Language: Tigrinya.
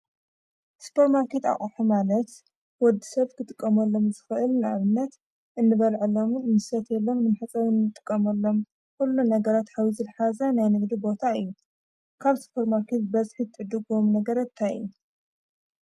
ስፐር ማርከት ኣቕሖ ማለት ወዲ ሰብ ክትቀመሎም ዝኽእል ንኣብነት እንበልዐሎምን እንሰትየሎም ንምሕፀቢ አንጥቀመሎም ኲሉ ነገራት ሓዊሱ ዝሓዘ ናይ ንግዲ ቦታ እዩ፡፡ ካብ ስፐር ማርከት በዝሒ ትዕድግምዎም ነገራት ታይ እዮም?